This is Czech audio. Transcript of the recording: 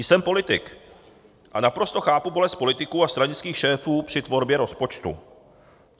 Jsem politik a naprosto chápu bolest politiků a stranických šéfů při tvorbě rozpočtu.